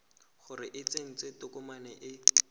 gore o tsentse tokomane e